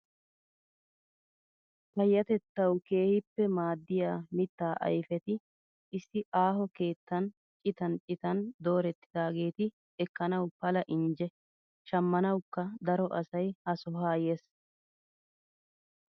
Payyatettawu keehippe maaddiyaa mittaa ayifeti issi aaho keettan citan citan doorettidaageti ekkanawu pala injje. Shammanawukka daro asayi ha sohaa yes.